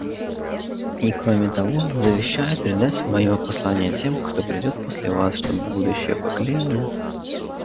и кроме того завещаю передать моё послание тем кто придёт после вас чтобы будущие поколения